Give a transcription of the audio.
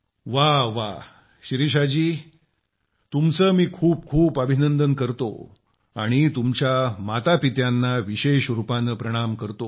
व्वा व्वा शिरीषाजी तुमचं मी खूप खूप अभिनंदन करतो आणि तुमच्या मातापित्यांना विशेष रूपानं प्रणाम करतो